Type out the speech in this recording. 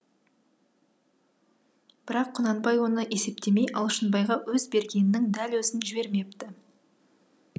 бірақ құнанбай оны есептемей алшынбайға өз бергенінің дәл өзін жібермепті